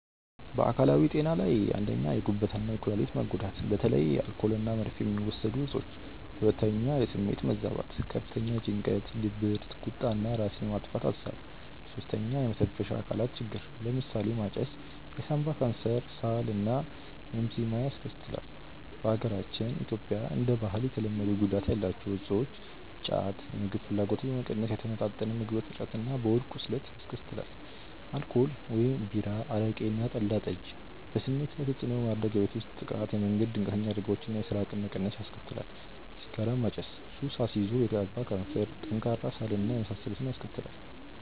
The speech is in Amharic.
በአካላዊ ጤና ላይ፦ 1. የጉበት እና የኩላሊት መጎዳት (በተለይ አልኮል እና መርፌ የሚወሰዱ እፆች)። 2. የስሜት መዛባት፦ ከፍተኛ ጭንቀት፣ ድብርት፣ ቁጣ እና ራስን የማጥፋት አሳብ። 3. የመተንፈሻ አካላት ችግር፦ ለምሳሌ ማጨስ የሳንባ ካንሰር፣ ሳል እና ኤምፊዚማ ያስከትላል። በሀገራችን (ኢትዮጵያ) እንደ ባህል የተለመዱ ጉዳት ያላቸው እፆች:-ጫት:-የምግብ ፍላጎትን በመቀነስ የተመጣጠነ ምግብ እጥረት እና የሆድ ቁስለት ያስከትላል። አልኮል (ቢራ፣ አረቄ እና ጠላ/ጠጅ ):-በስሜት ላይ ተጽዕኖ በማድረግ የቤት ውስጥ ጥቃት፣ የመንገድ ድንገተኛ አደጋዎች እና የሥራ አቅም መቀነስ ያስከትላል። ሲጋራ ማጨስ:-ሱስ አስይዞ የሳንባ ካንሰር፣ ጠንካራ ሳል እና የመሳሰሉትን ያስከትላል